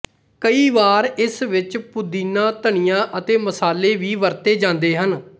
ਕਈ ਵਾਰ ਇਸ ਵਿੱਚ ਪੁਦੀਨਾ ਧਨੀਆ ਅਤੇ ਮਸਾਲੇ ਵੀ ਵਰਤੇ ਜਾਂਦੇ ਹਨ